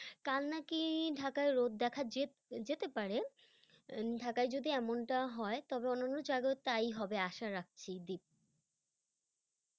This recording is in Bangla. কাল নাকি ঢাকায় রোদ দেখা যে- যেতে পারে, উম ঢাকায় যদি এমনটা হয় তবে অন্যান্য জায়গায়ও তাই হবে আশা রাখছি, দীপ।